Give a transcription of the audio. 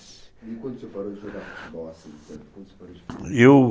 E quando você parou de jogar futebol? assim, eu